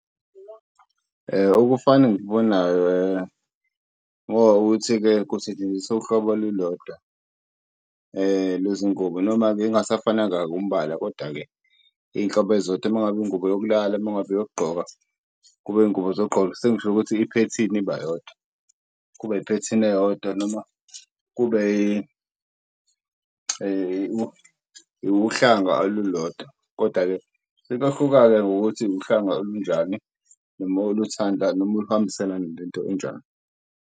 Ukufana engikubonayo ngoba ukuthi-ke kusetshenziswa uhlobo olulodwa lwezi ngubo. Noma-ke ingasafananga umbala kodwa-ke iy'nhlobo ezizodwa noma ngabe ingubo yokulala noma ngabe eyokugqoka kube iy'ngubo zokugqoka, sengisholo ukuthi iphethini ibayodwa, kuba iphethini eyodwa noma kube uhlanga olulodwa. Kodwa-ke sekuyohluka-ke ngokuthi uhlanga olunjani noma uluthanda noma luhambiselana nento enjani.